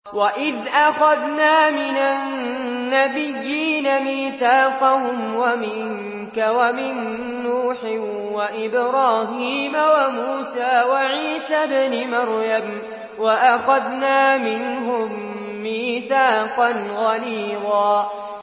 وَإِذْ أَخَذْنَا مِنَ النَّبِيِّينَ مِيثَاقَهُمْ وَمِنكَ وَمِن نُّوحٍ وَإِبْرَاهِيمَ وَمُوسَىٰ وَعِيسَى ابْنِ مَرْيَمَ ۖ وَأَخَذْنَا مِنْهُم مِّيثَاقًا غَلِيظًا